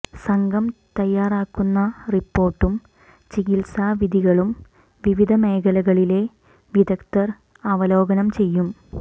സംഘം തയ്യാറാക്കുന്ന റിപ്പോർട്ടും ചികിത്സാ വിധികളും വിവിധ മേഖലകളിലെ വിദഗ്ധർ അവലോകനം ചെയ്യും